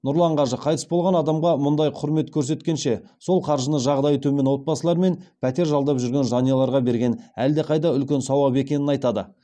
нұрлан қажы қайтыс болған адамға мұндай құрмет көрсеткенше сол қаржыны жағдайы төмен отбасылар мен пәтер жалдап жүрген жанұяларға берген әлдеқайда үлкен сауап екенін айтады